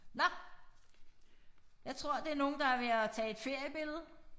Nåh jeg tror det nogen der er ved at tage et feriebillede